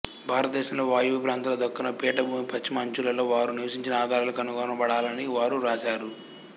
భారతదేశంలో వాయువ్య ప్రాంతాలలో దక్కను పీఠభూమి పశ్చిమ అంచులలో వారు నివసించిన ఆధారాలు కనుగొనబడాలని వారు వ్రాశారు